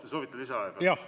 Te soovite lisaaega, jah?